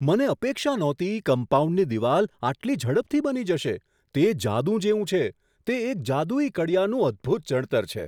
મને અપેક્ષા નહોતી કમ્પાઉન્ડની દિવાલ આટલી ઝડપથી બની જશે તે જાદુ જેવું છે! તે એક જાદુઈ કડિયાનું અદભૂત ચણતર છે.